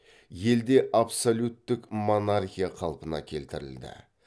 елде абсолюттік монархия қалпына келтірілді